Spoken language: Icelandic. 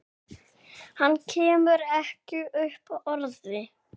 Hann kemur ekki upp orði.